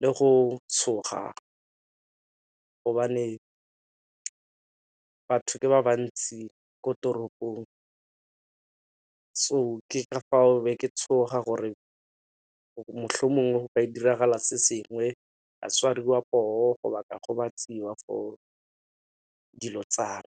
le go tshoga gobane batho ba bantsi ko toropong. So ke ka fao be ke be ke tshoga gore motlha o mongwe go ka diragala se sengwe batshwariwa go ba ka gobatsiwang for dilo tsa me.